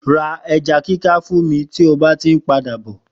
Ra eja kika fún mí ti o bá ti ń padà bọ!